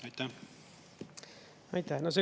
Aitäh!